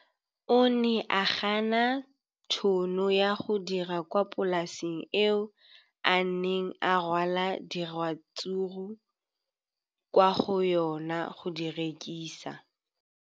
O ne a gana tšhono ya go dira kwa polaseng eo a neng rwala diratsuru kwa go yona go di rekisa.